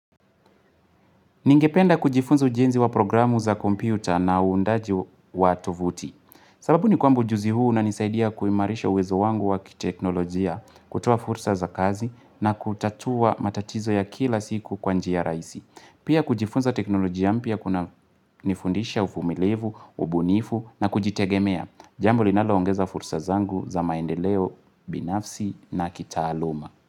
Ningependa kujifunza ujenzi wa programu za kompyuta na uundaji wa tovuti. Sababu ni kwamba ujuzi huu unanisaidia kuimarisha uwezo wangu wa kiteknolojia kutoa fursa za kazi na kutatua matatizo ya kila siku kwa njia rahisi. Pia kujifunza teknolojia mpya kunanifundisha ufumilivu, ubunifu na kujitegemea. Jambo linaloongeza fursa zangu za maendeleo binafsi na kitaaluma.